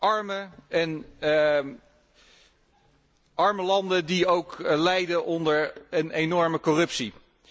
Arme landen die ook lijden onder een enorme corruptie.